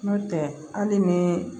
Nɔntɛ hali ni